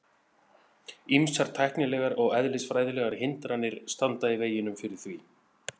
Ýmsar tæknilegar og eðlisfræðilegar hindranir standi í veginum fyrir því.